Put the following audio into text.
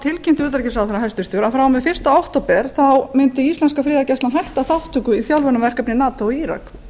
hæstvirts utanríkisráðherra að frá og með fyrsta október mundi íslenska friðargæslan hætta þátttöku í þjálfunarverkefni nato í írak